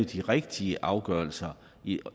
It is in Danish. de rigtige afgørelser i